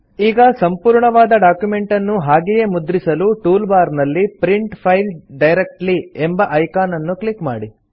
ಈಗ ಸಂಪೂರ್ಣವಾದ ಡಾಕ್ಯುಮೆಂಟನ್ನು ಹಾಗೆಯೇ ಮುದ್ರಿಸಲು ಟೂಲ್ ಬಾರ್ ನಲ್ಲಿ ಪ್ರಿಂಟ್ ಫೈಲ್ ಡೈರೆಕ್ಟ್ಲಿ ಎಂಬ ಐಕಾನ್ ಅನ್ನು ಕ್ಲಿಕ್ ಮಾಡಿ